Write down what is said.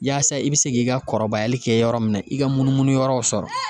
Yaasa i be se k'i ka kɔrɔbayali kɛ yɔrɔ min na, i ka munumunu yɔrɔw sɔrɔ.